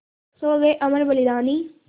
सो गये अमर बलिदानी